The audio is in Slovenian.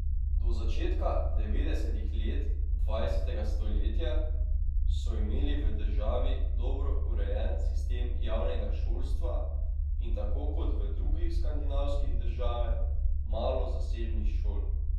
Do začetka devetdesetih let dvajsetega stoletja so imeli v državi dobro urejen sistem javnega šolstva in tako kot v drugih skandinavskih države malo zasebnih šol.